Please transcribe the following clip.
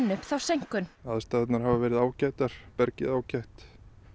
upp þá seinkun aðstæðurnar hafa verið ágætar bergið ágætt